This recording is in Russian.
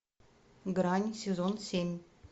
грань сезон семь